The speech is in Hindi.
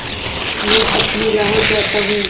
मैं अपनी राह जाता हूँ